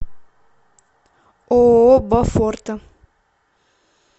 ооо бофорта